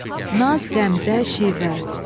Əda, naz, qəmzə, şivə.